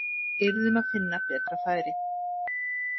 Við yrðum að finna betra færi.